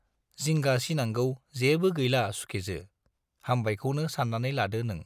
जिंगा सिनांगौ जेबो गैला सुखेजो, हामबायखौनो सान्नानै लादो नों।